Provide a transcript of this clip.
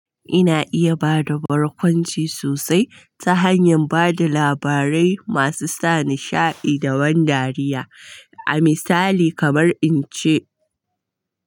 Ina iya ba da barkwanci sosai ta hanyar ba da labarai masu sa nishaɗi da ban dariya. A misali kamar in ce.